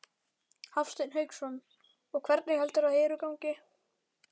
Hafsteinn Hauksson: Og hvernig heldurðu að Heru gangi?